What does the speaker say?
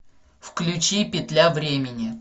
включи петля времени